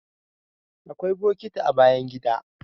Akwai bokiti a bayan gida